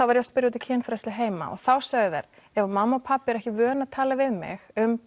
var ég að spyrja út í kynfræðslu heima og þá sögðu þær ef mamma og pabbi eru ekki vön að tala við mig um